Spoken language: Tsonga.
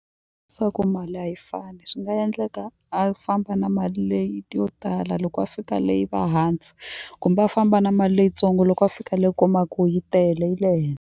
Swa ku mali a yi fani swi nga endleka a famba na mali leyi yo tala loko va fika le yi va hansi kumbe a famba na mali leyitsongo loko a fika le u kuma ku yi tele yi le .